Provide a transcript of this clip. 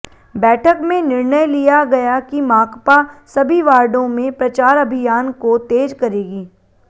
बैठक में निर्णय लिया गया कि माकपा सभी वार्डों में प्रचार अभियान को तेज करेगी